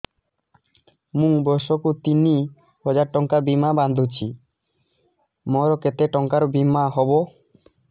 ମୁ ବର୍ଷ କୁ ତିନି ହଜାର ଟଙ୍କା ବୀମା ବାନ୍ଧୁଛି ମୋର କେତେ ଟଙ୍କାର ବୀମା ହବ